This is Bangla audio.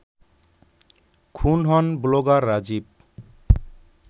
খুন হন ব্লগার রাজীব